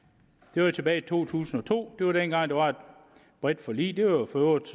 det var tilbage i to tusind og to det var dengang der var et bredt forlig det var for øvrigt